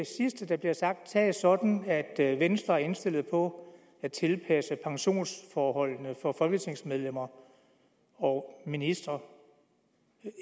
sidste der bliver sagt tages sådan at at venstre er indstillet på at tilpasse pensionsforholdene for folketingsmedlemmer og ministre